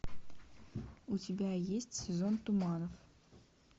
у тебя есть сезон туманов